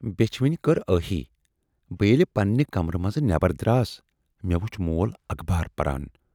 "بیچھِ وٕنۍ کٔر ٲہی! بہٕ ییلہِ پَننہِ کَمرٕ مَنز نٮ۪بَر دراس مے وُچھ مول اخبار پَران۔